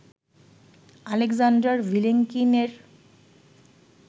Alexander Vilenkin এর